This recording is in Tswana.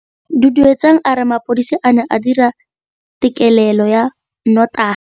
Duduetsang a re mapodisa a ne a dira têkêlêlô ya nnotagi.